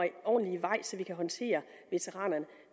ordentligt i vej så vi kan håndtere veteranerne